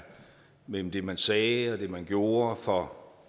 mellem det man sagde og det man gjorde for